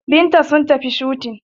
Binta sun tafi shooting